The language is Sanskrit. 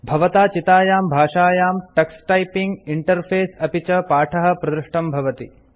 भवता चितायां भाषायां टक्स टाइपिंग इंटरफेस अपि च पाठः प्रदृष्टं भवति